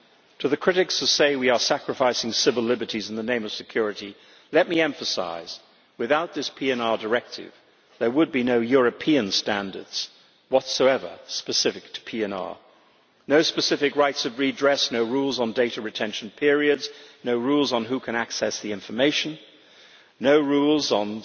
To the critics who say we are sacrificing civil liberties in the name of security, let me emphasise that without this PNR Directive there would be no European standards whatsoever specific to PNR, no specific rights of redress, no rules on data retention periods, no rules on who can access the information, no rules on